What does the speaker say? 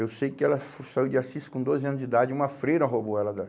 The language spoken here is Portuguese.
Eu sei que ela saiu de Assis com doze anos de idade, uma freira roubou ela da